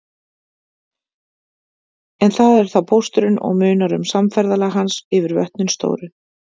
En það er þá pósturinn og munar um samferðalag hans yfir vötnin stóru.